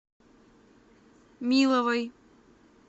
миловой